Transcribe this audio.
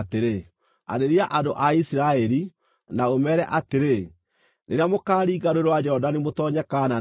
“Arĩria andũ a Isiraeli, na ũmeere atĩrĩ: ‘Rĩrĩa mũkaaringa Rũũĩ rwa Jorodani mũtoonye Kaanani-rĩ,